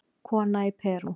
Kona í Perú